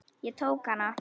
Ég tók hana.